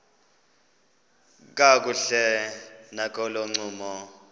kakuhle nakolo ncumo